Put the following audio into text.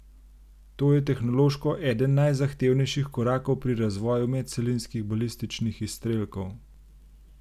To je tehnološko eden najzahtevnejših korakov pri razvoju medcelinskih balističnih izstrelkov.